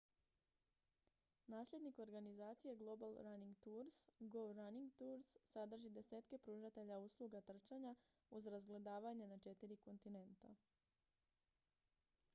nasljednik organizacije global running tours go running tours sadrži desetke pružatelja usluga trčanja uz razgledavanje na četiri kontinenta